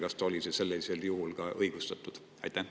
Kas see oli siis sellisel juhul ka õigustatud?